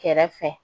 Kɛrɛfɛ